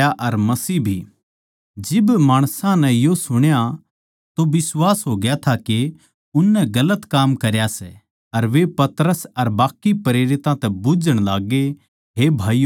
जिब माणसां नै यो सुण्या तो बिश्वास होग्या था के उननै गलत काम करया सै अर वे पतरस अर बाकी प्रेरितां तै बुझ्झण लाग्गे हे भाईयो हम के करा